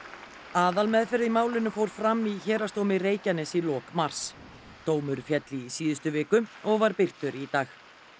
aðalmeðferð í málinu fór fram í Héraðsdómi Reykjaness í lok mars dómur féll í síðustu viku og var birtur í dag